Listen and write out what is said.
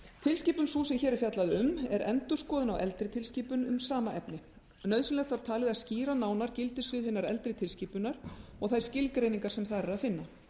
tilskipun sú sem hér er fjallað um er endurskoðun á eldri tilskipun um sama efni nauðsynlegt var talið að skýra nánar gildissvið hinnar eldri tilskipunar og þær skilgreiningar sem þar er að finna